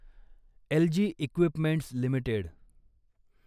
algae equipments limited